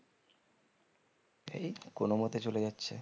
এই তো কোনো মতে চলে যাচ্ছে